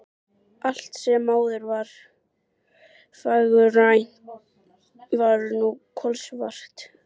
Allt sem áður var fagurgrænt var nú kolsvart.